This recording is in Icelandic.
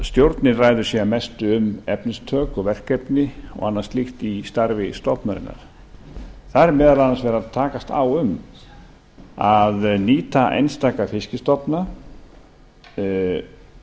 stjórnin ræður síðan mestu um efnistök og verkefni og annað slíkt í starfi stofnunarinnar þar er meðal annars verið að takast á um að nýta einstaka fiskstofna jafnvel